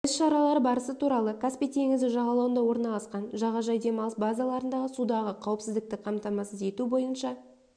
іс-шаралары барысы туралы каспий теңізі жағалауында орналасқан жағажай демалыс базаларындағы судағы қауіпсіздікті қамтамасыз ету бойынша